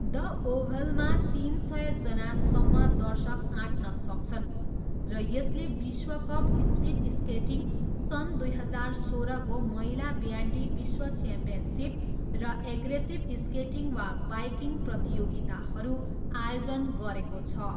The ओभलमा तिन सयजनासम्म दर्शक आँट्न सक्छन् र यसले विश्वकप स्पिडस्केटिङ, सन् दुई हजार सोह्रको महिला ब्यान्डी विश्व च्याम्पियनसिप र एग्रेसिभ स्केटिङ वा बाइकिङ प्रतियोगिताहरू आयोजन गरेको छ।